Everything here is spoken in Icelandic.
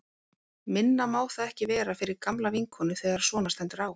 Minna má það ekki vera fyrir gamla vinkonu þegar svona stendur á.